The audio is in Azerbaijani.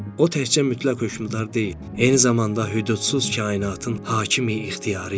O təkcə mütləq hökmdar deyil, eyni zamanda hüdudsuz kainatın hakimi-ixtiyarı idi.